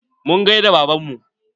Mun gaida baban mu